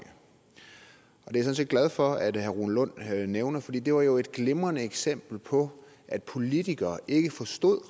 og det er jeg sådan set glad for at herre rune lund nævner for det det var jo et glimrende eksempel på at politikere ikke forstod